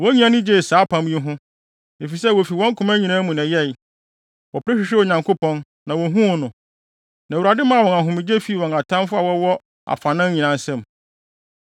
Wɔn nyinaa ani gyee saa apam yi ho, efisɛ wofi wɔn koma nyinaa mu na ɛyɛe. Wɔpere hwehwɛɛ Onyankopɔn, na wohuu no. Na Awurade maa wɔn ahomegye fii wɔn atamfo a wɔwɔ afanan nyinaa nsam.